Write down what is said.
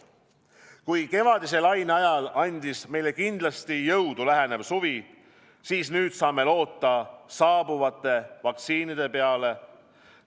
Kui kevadise laine ajal andis meile kindlasti jõudu lähenev suvi, siis nüüd saame loota saabuvate vaktsiinide peale.